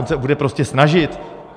On se bude prostě snažit.